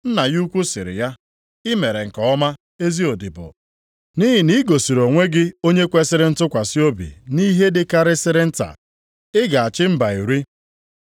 “Nna ya ukwu sịrị ya, ‘I mere nke ọma, ezi odibo. Nʼihi na i gosiri onwe gị onye kwesiri ntụkwasị obi nʼihe dịkarịsịrị nta, ị ga-achị mba iri.’